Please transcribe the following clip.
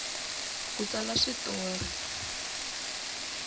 ku tsala swi tori